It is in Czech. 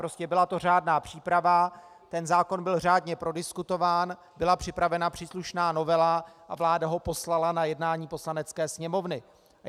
Prostě byla to řádná příprava, ten zákon byl řádně prodiskutován, byla připravena příslušná novela a vláda ho poslala na jednání Poslanecké sněmovny.